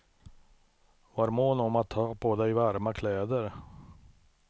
Var mån om att ha på dig varma kläder.